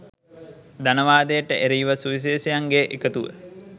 ධනවාදයට එරෙහිව සුවිශේෂයන්ගේ එකතුව